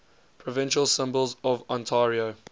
provincial symbols of ontario